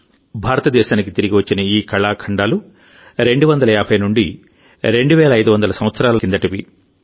భారతదేశానికి తిరిగి వచ్చిన ఈ కళాఖండాలు 2500 నుండి 250 సంవత్సరాల నాటి కిందటివి